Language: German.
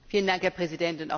Herr Präsident!